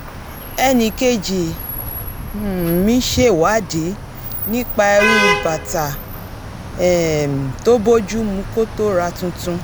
e̩nìkejì um mi ṣèwádìí nípa irú bàtà um tó bójú mu kó tó ra tuntun